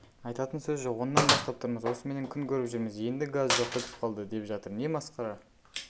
айтатын сөз жоқ сағат оннан бастап тұрмыз осыменен күн көріп жүрміз енді газ жоқ бітіп қалды деп жатыр не масқара